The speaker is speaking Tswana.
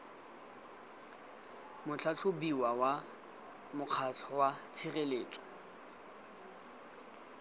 motlhatlhobiwa wa mokgatlho wa tshireletso